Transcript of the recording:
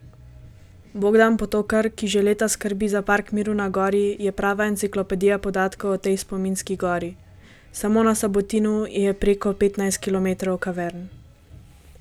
Bogdan Potokar, ki že leta skrbi za Park miru na gori, je prava enciklopedija podatkov o tej spominski gori: 'Samo na Sabotinu je preko petnajst kilometrov kavern.